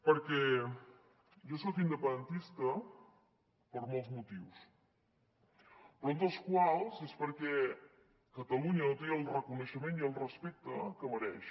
perquè jo soc independentista per molts motius però un d’ells és perquè catalu·nya no té el reconeixement i el respecte que mereix